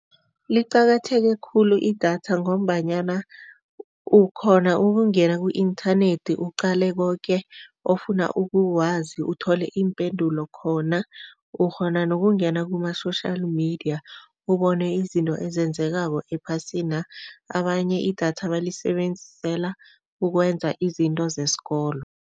Liqakatheke khulu idatha ngombanyana ukghona ukungena ku-inthanethi uqale koke ofuna ukukwazi uthole iimpendulo khona. Ukghona nokungena kuma-social media, ubone izinto ezenzekako ephasina. Abanye idatha balisebenzisela ukwenza izinto zesikolo.